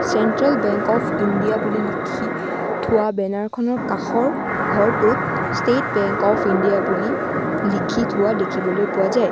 Central Bank of India বুলি লিখি থোৱা বেনাৰখনৰ কাষৰ ঘৰটোত ষ্টেট বেংক অফ ইণ্ডিয়া বুলি লিখি থোৱা দেখিবলৈ পোৱা যায়।